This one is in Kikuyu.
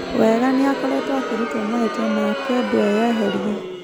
Wenga nĩakoretwo akĩrutũo mahĩtia na akendũo eyeherie.